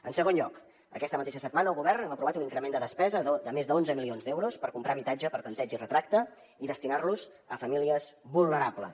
en segon lloc aquesta mateixa setmana el govern hem aprovat un increment de despesa de més d’onze milions d’euros per comprar habitatge per tanteig i retracte i destinar los a famílies vulnerables